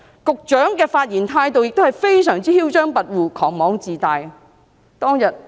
局長的發言態度非常囂張跋扈、狂妄自大。